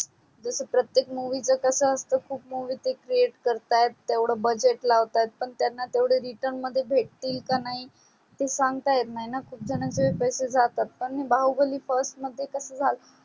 जस प्रतेक movie च कस असत खूप movie ते create करतात तेवड budget लावतात पण त्यांना तेवड return मध्ये भेटतील का नाही ते सांगता येत नाही णा खूप झणाचे पैसे जातात पण बाहुबली first मध्ये कस झाल